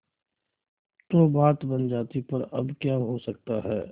तो बात बन जाती पर अब क्या हो सकता है